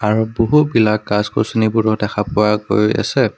আৰু বহুবিলাক গাছ-গছনিবোৰো দেখা পোৱা গৈ আছে।